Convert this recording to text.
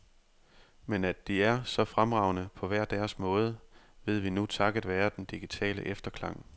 Men at de er så fremragende, på hver deres måde, ved vi nu takket være den digitale efterklang.